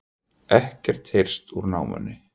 Ekkert heyrst úr námunni